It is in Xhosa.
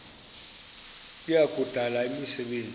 kuya kudala imisebenzi